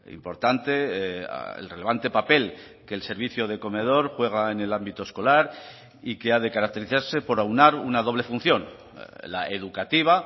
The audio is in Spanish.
importante el relevante papel que el servicio de comedor juega en el ámbito escolar y que ha de caracterizarse por aunar una doble función la educativa